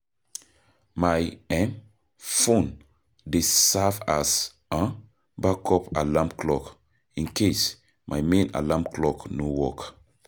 My um phone dey serve as um backup alarm clock in case my main alarm clock no work.